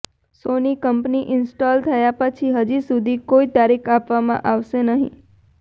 સોની company install થયા પછી હજી સુધી કોઈ તારીખ આપવામાં આવશે નહીં